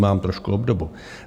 Vnímám trošku obdobu.